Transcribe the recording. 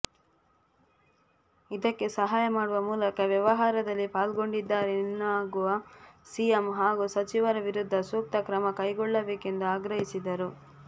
ಇದಕ್ಕೆ ಸಹಾಯ ಮಾಡುವ ಮೂಲಕ ವ್ಯವಹಾರದಲ್ಲಿ ಪಾಲ್ಗೊಂಡಿದ್ದಾರೆನ್ನಾಗುವ ಸಿಎಂ ಹಾಗೂ ಸಚಿವರ ವಿರುದ್ಧ ಸೂಕ್ತ ಕ್ರಮ ಕೈಗೊಳ್ಳಬೇಕೆಂದು ಆಗ್ರಹಿಸಿದರು